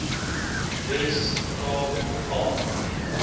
wes kaap al